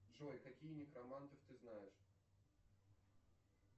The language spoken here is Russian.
джой каких некромантов ты знаешь